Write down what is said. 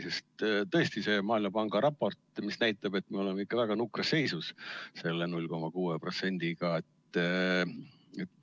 Sest tõesti see Maailmapanga raport näitab, et me oleme ikka väga nukras seisus oma imeväikse protsendiga.